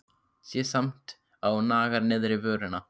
Sé samt að hún nagar neðri vörina.